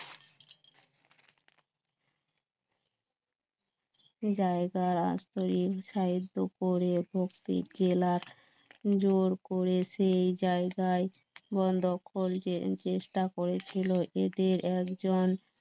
জায়গা রাস্তা করে ভক্তি জেলার জোর করে সেই জায়গায় বন্ধ করে চেষ্টা করেছিল এদের একজন